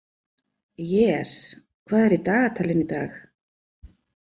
Jes, hvað er í dagatalinu í dag?